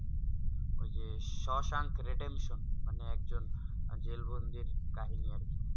ওই যে Shawshank redemption মানে একজন জেল বন্ধির কাহিনী আর কি